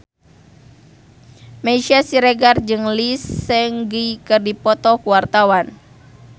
Meisya Siregar jeung Lee Seung Gi keur dipoto ku wartawan